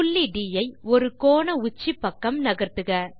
புள்ளி ட் ஐ ஒரு கோண உச்சி பக்கம் நகர்த்துக